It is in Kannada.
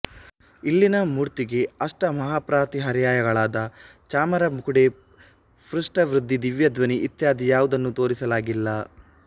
ಇಲ್ಲಿನ ಮೂರ್ತಿಗೆ ಅಷ್ಟಮಹಾಪ್ರಾತಿಹಾರ್ಯಗಳಾದ ಚಾಮರ ಮುಕೋಡೆ ಪುಷ್ಪವೃಷ್ಠಿ ದಿವ್ಯ ದ್ವನಿ ಇತ್ಯಾದಿ ಯಾವುದನ್ನೂ ತೋರಿಸಲಾಗಿಲ್ಲ